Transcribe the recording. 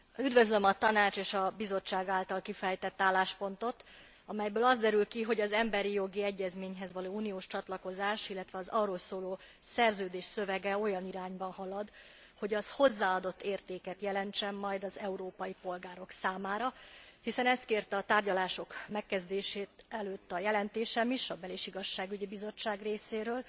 Üdvözlöm a Tanács és a Bizottság által kifejtett álláspontot, amelyből az derül ki, hogy az emberi jogi egyezményhez való uniós csatlakozás, illetve az arról szóló szerződés szövege olyan irányba halad, hogy az hozzáadott értéket jelentsen majd az európai polgárok számára, hiszen ezt kérte a tárgyalások megkezdése előtt a jelentésem is a Bel és Igazságügyi Bizottság részéről,